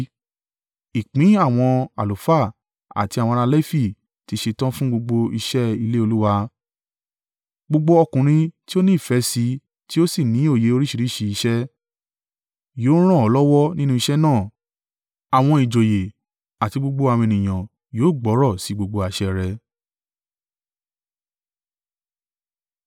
Ìpín àwọn àlùfáà àti àwọn ará Lefi ti ṣetán fún gbogbo iṣẹ́ ilé Olúwa. Gbogbo ọkùnrin tí ó ní ìfẹ́ sí i tí ó sì ní òye oríṣìíríṣìí iṣẹ́. Yóò ràn ọ́ lọ́wọ́ nínú iṣẹ́ náà. Àwọn ìjòyè àti gbogbo àwọn ènìyàn yóò gbọ́rọ̀ sí gbogbo àṣẹ rẹ.”